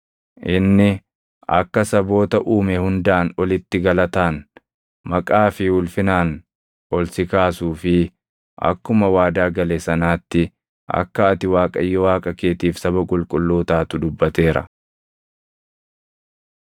Inni akka saboota uume hundaan olitti galataan, maqaa fi ulfinaan ol si kaasuu fi akkuma waadaa gale sanaatti akka ati Waaqayyo Waaqa keetiif saba qulqulluu taatu dubbateera.